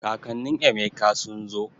Kakannin Emeka sun zo